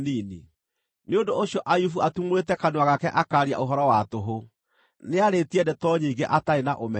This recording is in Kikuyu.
Nĩ ũndũ ũcio Ayubu atumũrĩte kanua gake akaaria ũhoro wa tũhũ; nĩarĩĩtie ndeto nyingĩ atarĩ na ũmenyo.”